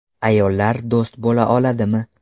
Ayollar do‘st bo‘la oladimi?